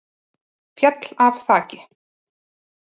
Féll af þaki